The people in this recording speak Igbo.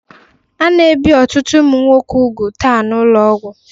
A na-ebi ọtụtụ ụmụ nwoke úgwù taa n'ụlọọgwụ